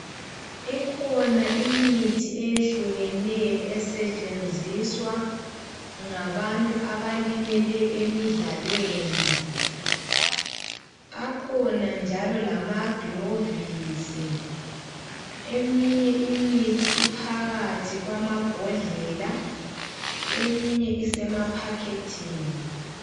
Ikhona imithi eyehlukeneyo esetshenziswa ngabantu abalimele emidlalweni, akhona njalo lamagilovisi eminye imithi iphakathi kwamabhodlela eminye isemaphakethini.